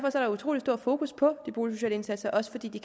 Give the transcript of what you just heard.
utrolig stor fokus på de boligsociale indsatser også fordi de